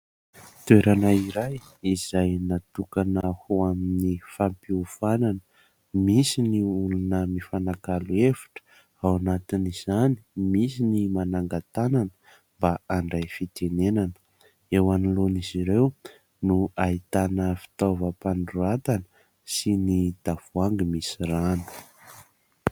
Toerana iray izay natokana ho amin'ny fampihofanana. Misy ny olona mifanakalo hevitra, ao anatin'izany misy ny mananga-tanana mba handray fitenenana. Eo anoloana izy ireo no ahitana fitaovam-panoratana sy ny tavoahangy misy rano.